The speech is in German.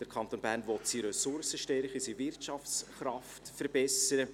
Der Kanton Bern will seine Ressourcenstärke, seine Wirtschaftskraft verbessern.